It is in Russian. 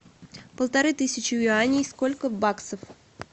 полторы тысячи юаней сколько в баксах